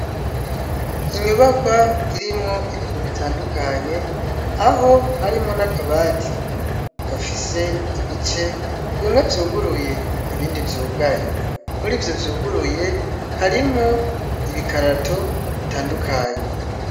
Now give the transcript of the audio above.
Inyubakwa irimwo ibintu bitandukanye, aho harimwo n'akabati gafise ibice bimwe vyuguruye, ibindi vyugaye. Muri ivyo vyuguruye, harimwo ibikarato bitandukanye.